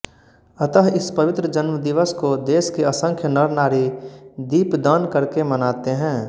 अतः इस पवित्र जन्म दिवस को देश के असंख्य नरनारी दीपदान करके मनाते हैं